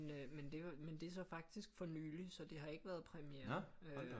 Men det var det er så faktisk for nyligt så det har ikke været premieren øh